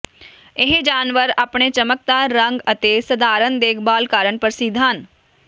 ਇਹ ਜਾਨਵਰ ਆਪਣੇ ਚਮਕਦਾਰ ਰੰਗ ਅਤੇ ਸਧਾਰਣ ਦੇਖਭਾਲ ਕਾਰਨ ਪ੍ਰਸਿੱਧ ਹਨ